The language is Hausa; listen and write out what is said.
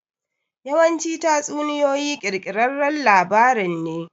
Yawanci tatsuniyoyi ƙirƙirarran labarin ne.